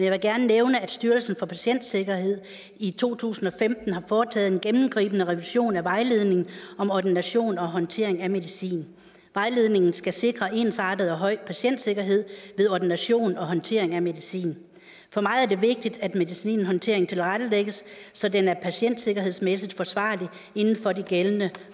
vil gerne nævne at styrelsen for patientsikkerhed i to tusind og femten har foretaget en gennemgribende revision af vejledningen om ordination og håndtering af medicin vejledningen skal sikre en ensartet høj patientsikkerhed ved ordination og håndtering af medicin for mig er det vigtigt at medicinhåndteringen tilrettelægges så den er patientsikkerhedsmæssigt forsvarlig inden for de gældende